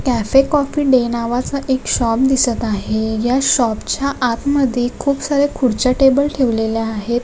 Cafe Coffee Day नावाचा एक shop दिसत आहे या शॉपच्या आत मध्ये खूप सार्‍या खुर्च्या टेबल ठेवलेल्या आहेत.